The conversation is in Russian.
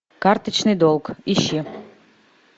карточный долг ищи